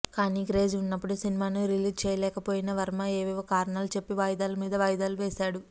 కానీ క్రేజ్ ఉన్నపుడు సినిమాను రిలీజ్ చేయలేకపోయిన వర్మ ఏవేవో కారణాలు చెప్పి వాయిదాల మీద వాయిదాలు వేశాడు